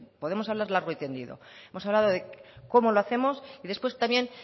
podemos hablar largo y tendido hemos hablado de cómo lo hacemos y después también